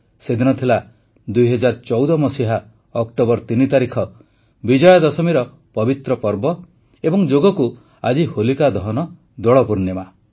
ସେଦିନ ଥିଲା ୨୦୧୪ ଅକ୍ଟୋବର ୩ ତାରିଖ ବିଜୟାଦଶମୀର ପବିତ୍ର ପର୍ବ ଏବଂ ଯୋଗକୁ ଆଜି ହୋଲିକା ଦହନ ଦୋଳ ପୂର୍ଣ୍ଣିମା